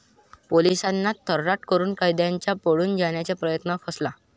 पोलिसांना 'तर्राट' करून कैद्यांचा पळून जाण्याचा प्रयत्न फसला